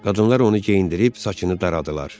Qadınlar onu geyindirib saçını daradılar.